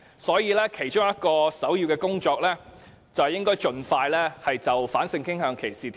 所以，首要工作是盡快訂立反性傾向歧視法例。